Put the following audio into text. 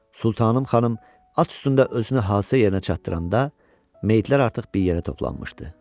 Sultanım xanım at üstündə özünü hadisə yerinə çatdıranda meyidlər artıq bir yerə toplanmışdı.